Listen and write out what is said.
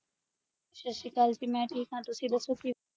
ਸਤਿ ਸ੍ਰੀ ਕਲ ਜੀ ਮੈਂ ਠੀਕ ਆ ਤੁਸੀਂ ਦਸੋ ਕਿਵੇਂ